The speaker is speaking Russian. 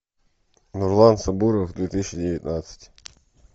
нурлан сабуров две тысячи девятнадцать